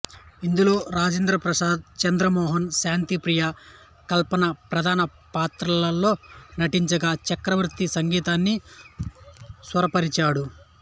ఇందులో రాజేంద్ర ప్రసాద్ చంద్ర మోహన్ శాంతిప్రియ కల్పన ప్రధాన పాత్రల్లో నటించగా చక్రవర్తి సంగీతాన్ని స్వరపరిచాడు